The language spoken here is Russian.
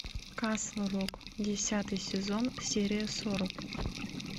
касл рок десятый сезон серия сорок